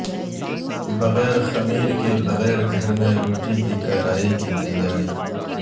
بغیر خمیر کے بغیر گھر میں روٹی کی کٹائی کی تیاری